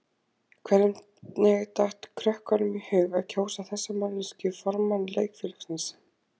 Hvernig datt krökkunum í hug að kjósa þessa manneskju formann leikfélagsins?